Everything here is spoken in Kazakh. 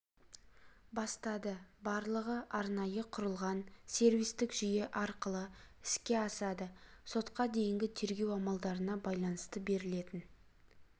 бастады барлығы арнайы құрылған сервистік жүйе арқылы іске асады сотқа дейінгі тергеу амалдарына байланысты берілетін